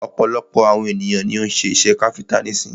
Ọ̀pọ̀lọpọ̀ àwon ènìyàn ni o ń́ ṣe iṣẹ káfíńńtà nísin.